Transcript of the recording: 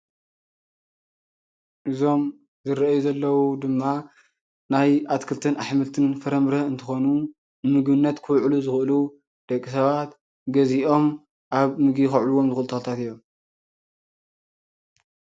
እዞም ዝርአዩ ዘለዉ ድማ ናይ ኣትኽልትን፣ ኣሕምልትን፣ ፍረምረን እንትኾኑ ንምግብነት ክውዕሉ ዝኽእሉ ደቂ ሰባት ገዚኦም ኣብ ምግቢ ከውዕልዎም ዝኽእሉ ተኽልታት እዮም።